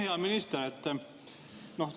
Hea minister!